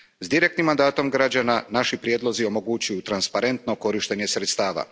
S direktnim mandatom građana, naši prijedlozi omogućuju transparentno korištenje sredstava.